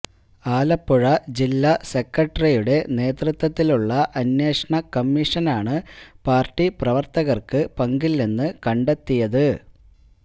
ആലപ്പുഴ ജില്ലാ സോക്രട്ടറിയുടെ നേതൃത്വത്തിലുള്ള അന്വേഷണ കമ്മീഷനാണ് പാര്ട്ടി പ്രവര്ത്തകര്ക്ക് പങ്കില്ലെന്ന് കണ്ടെത്തിയത്